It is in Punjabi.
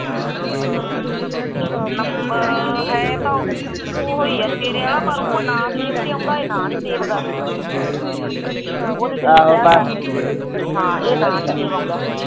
ਨੰਬਰ ਹੈ ਤਾਂ ਤੇਰਾ ਹੀ ਹੈ ਉਹ ਨਾ ਸੇਵ ਤੇ ਆਉਂਦਾ ਇਹ ਨਾਮ ਸੇਵ ਤੇ ਨਹੀਂ ਆਉਂਦਾ ਉਹਦੇ ਤੇ ਲਿਖਿਆ ਨਾਂਅ ਇਹਦੇ ਤੇ ਨਾਂਅ ਨੀ ਆਉਂਦਾ